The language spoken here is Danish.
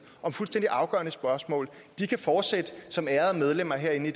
om fuldstændig afgørende spørgsmål kan fortsætte som ærede medlemmer herinde